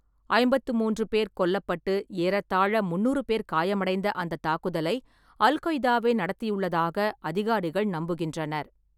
ஐம்பத்தி மூன்று பேர் கொல்லப்பட்டு ஏறத்தாழ முந்நூறு பேர் காயமடைந்த அந்தத் தாக்குதலை அல்-கொய்தாவே நடத்தியுள்ளதாக அதிகாரிகள் நம்புகின்றனர்.